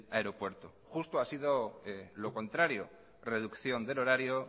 aeropuerto justo ha sido lo contrario reducción del horario